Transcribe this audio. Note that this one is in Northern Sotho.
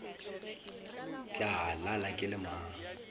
tla lala ke le mang